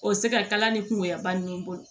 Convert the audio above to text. O se ka kala ni kungoya ba ninnu bolo